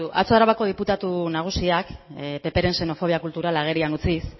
begiratu atzo arabako diputatu nagusiak ppren xenofobia kulturala agerian utziz